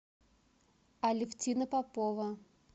алевтина попова